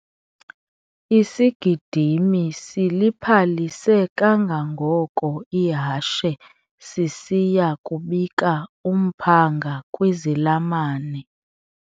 Isigidimi siliphalise kangangoko ihashe sisiya kubika umphanga kwizilamane.